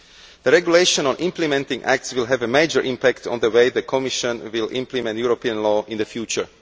The regulation on implementing acts will have a major impact on the way the Commission implements European law in the future.